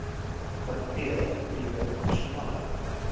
vanweë nuwe nasionale